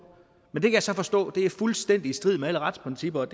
men det kan jeg så forstå er fuldstændig i strid med alle retsprincipper og